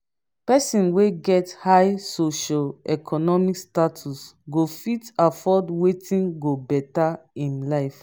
persin wey get high socio-economic status go fit afford wetin go better im life